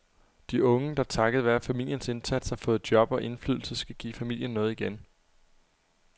De unge, der takket være familiens indsats har fået job og indflydelse, skal give familien noget igen.